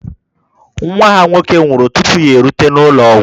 Nwa ha nwoke nwụrụ tupu ya erute n'ụlọ ọgwụ